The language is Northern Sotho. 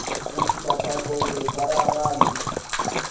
go iša thapong re swaragane